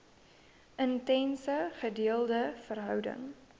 intense gedeelde verhouding